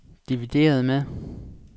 divideret med